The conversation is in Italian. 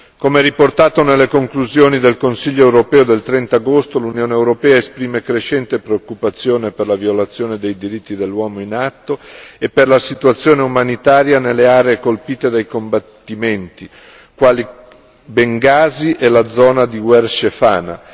Come riportato nelle conclusioni del Consiglio europeo del 30 agosto, l'Unione europea esprime crescente preoccupazione per la violazione dei diritti dell'uomo in atto e per la situazione umanitaria nelle aree colpite dai combattimenti, quali Bengasi e la zona di Wershefana.